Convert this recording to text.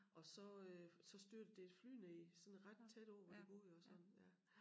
Og så øh så styrtede der et fly ned sådan ret tæt på hvor de boede og sådan ja